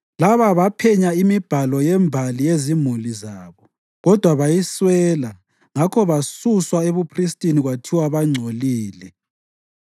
Laba baphenya imibhalo yembali yezimuli zabo, kodwa bayiswela ngakho basuswa ebuphristini kwathiwa bangcolile.